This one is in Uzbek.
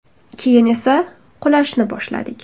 Keyin esa qulashni boshladik.